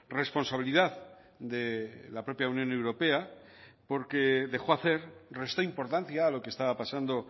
responsabilidad de la propia unión europea porque dejó hacer restó importancia a lo que estaba pasando